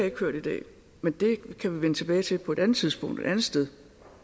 ikke hørt i dag men det kan vi vende tilbage til på et andet tidspunkt et andet sted